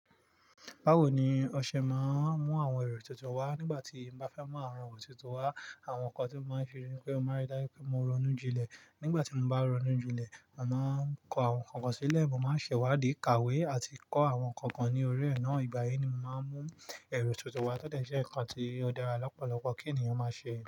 Bawo ni ọṣẹ máa ń mú àwọn èrò tuntun wá? Nígbà tí n bá fẹ́ mú àwọn èrò tuntun wá, àwọn nǹkan tí ó máa ń fi ni pé mo máa rí dájú pé mo ronú jinlẹ̀. Nígbà tí mo bá ronú jinlẹ̀, màá ń kọ àwọn nǹkan kan sílẹ̀, mo máa ń ṣẹ̀ wádìí ìkàwé àti kọ́ àwọn nǹkan kan ní orí ẹ̀ náà. Ìgbà yìí ni mo máa ń mú èrò tuntun wá tótẹ̀ ṣe nǹkan tí ó dára lọ́pọ̀lọpọ̀ kí ènìyàn máa ṣe.